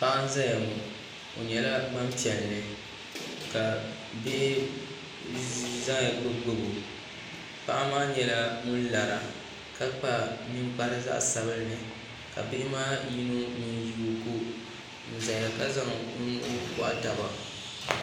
Paɣa n ʒɛya ŋɔ o nyɛla Gbanpiɛli ka bihi ʒɛya gbubi gbubi o paɣa maa nyɛla ŋun lara ka kpa ninkpara zaɣ sabinli ka bihi maa yino ŋun yi o ko n ʒɛya ka zaŋ o nuhi gohi taba